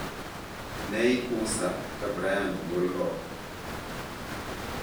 ne Ikusa ka Brian ogol oko.